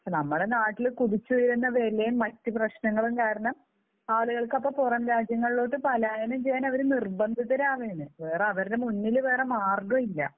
പക്ഷേ നമ്മുടെ നാട്ടിൽ കുതിച്ചുയരുന്ന വിലയും മറ്റ് പ്രശ്നങ്ങളും കാരണം ആളുകൾക്ക് അപ്പോൾ പുറം രാജ്യങ്ങളിലേക്ക് പലായനം ചെയ്യുവാൻ അവരെ നിർബന്ധിതരാവുകയാണ്. വേറെ അവരുടെ മുൻപിൽ വേറെ മാർഗ്ഗമില്ല.